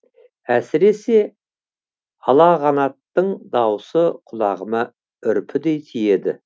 әсіресе алағанаттың дауысы құлағыма үрпідей тиеді